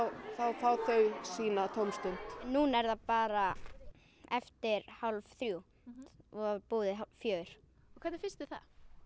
fá þau sína tómstund núna er það bara eftir hálf þrjú og búið fjögur og hvernig finnst þér það